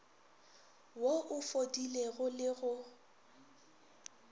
wo o fodilego le go